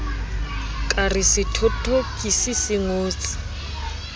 ka re sethothokisi se ngotse